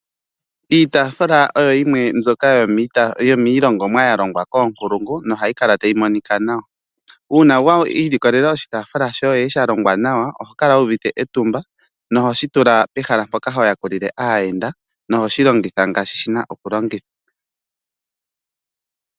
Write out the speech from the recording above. Iitafula oyo yimwe mbyoka yo miilongomwa ya longwa koonkulungu nohayi kala tayi monika nawa uuna wiilikolela oshitafula shoye sha longwa nawa oho kala wuuvite etumba noho shi tula pehala mpoka ho ya kulile aayenda noho shi longitha ngaashi shi na okulongithwa.